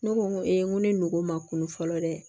Ne ko n ko n ko ni ngo ma kunun fɔlɔ dɛ